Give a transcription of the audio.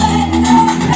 Hey, sən!